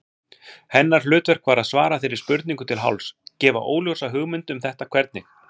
Hennar hlutverk var að svara þeirri spurningu til hálfs, gefa óljósa hugmynd um þetta hvernig.